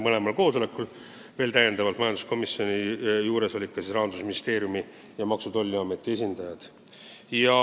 Mõlemal koosolekul olid kohal ka Rahandusministeeriumi ning Maksu- ja Tolliameti esindajad.